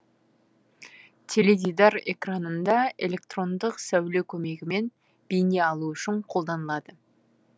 теледидар экранында электрондық сәуле көмегімен бейне алу үшін қолданылады